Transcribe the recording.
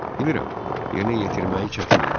Bilirəm, yerinə yetirməyi çətin idi.